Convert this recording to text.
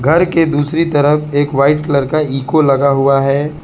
घर के दूसरी तरफ एक वाइट कलर का इको लगा हुआ है।